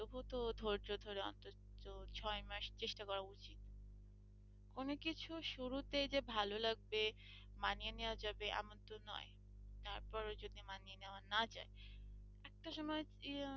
তবুও তো ধৈর্য ধরে অন্তত ছয় মাস চেষ্টা করা উচিত অনেককিছু শুরুতেই যে ভালো লাগছে মানিয়ে নেওয়া যাবে এমন তো নয় তারপরও যদি মানিয়ে নেওয়া না যায় একটা সময়,